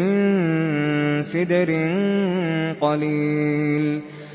مِّن سِدْرٍ قَلِيلٍ